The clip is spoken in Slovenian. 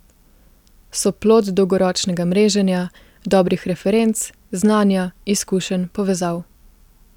So plod dolgoročnega mreženja, dobrih referenc, znanja, izkušenj, povezav.